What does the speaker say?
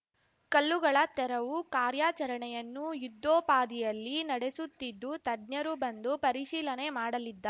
ಕಲ್ಲುಗಳ ತೆರವು ಕಾರ್ಯಾಚರಣೆಯನ್ನು ಯುದ್ಧೋಪಾದಿಯಲ್ಲಿ ನಡೆಸುತ್ತಿದ್ದು ತಜ್ಞರು ಬಂದು ಪರಿಶೀಲನೆ ಮಾಡಲಿದ್ದಾ